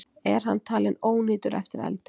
Er hann talinn ónýtur eftir eldinn